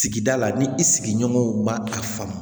Sigida la ni i sigiɲɔgɔnw ma a faamu